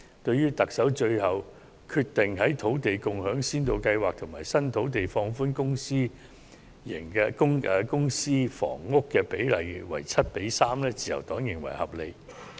對於特首最後決定就土地共享先導計劃及新發展土地，放寬公私營房屋比例至 7：3， 自由黨認為合理。